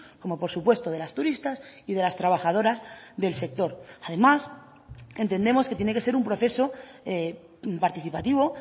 como por supuesto de las turistas y de las trabajadoras del sector además entendemos que tiene que ser un proceso participativo